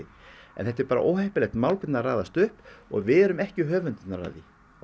þetta er bara óheppilegt mál hvernig það raðast upp og við erum ekki höfundar af því